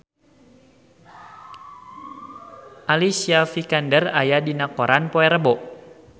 Alicia Vikander aya dina koran poe Rebo